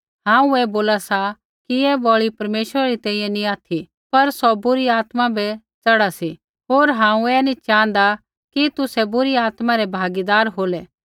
कैधी नैंई हांऊँ ऐ बोला सा कि ऐ बलि परमेश्वरा री तैंईंयैं नैंई ऑथि पर सौ बुरी आत्मा बै च़ढ़ा सी होर हांऊँ नी च़ाँहदा कि तुसै बुरी आत्मा रै भागीदार होलै